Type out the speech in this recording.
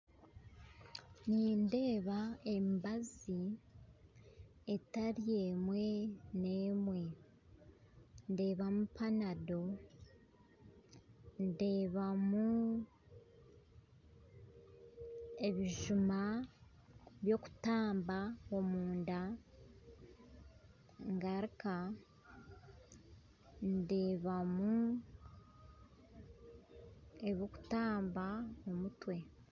Nindeeba emibazi etari n'emwe, ndeebamu panado ndeebamu ebijuma byokutamba omunda ngaruka ndebamu ebirikutamba omutwe